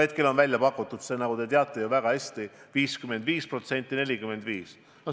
Hetkel on välja pakutud, nagu te väga hästi teate, 55% : 45%.